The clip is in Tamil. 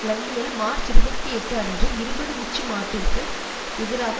லண்டனில் மார்ச் இருபத்தி எட்டு அன்று இருபது உச்சி மாட்டிற்கு எதிராக